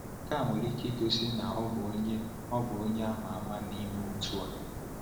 Nke a nwere ike igosi na ọ bụ onye bụ onye ama ama n’ime otu a.